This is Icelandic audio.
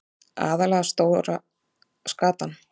Aðallega stóra skatan.